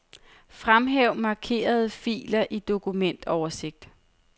Fremhæv markerede filer i dokumentoversigt.